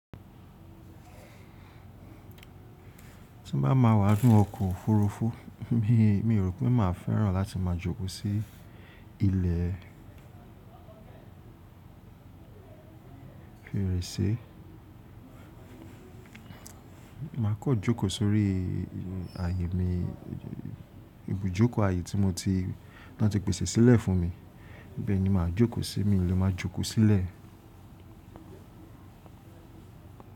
Tí n bá ma wà nínú ọkọ̀ òfúrufú mi, mi ò rò pé màá fẹ́ràn láti máa jókòó sí ilẹ̀ fèrèsé. Màá kọ́ jókòó sórí àyè mi, ibùjókòó àyè tí mo ti, tí wọ́n ti pèsè sílẹ̀ fún mi. Ibẹ̀ ni màá jókòó sí, milẹ̀ máa jókòó sílẹ̀.